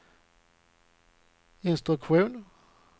instruktion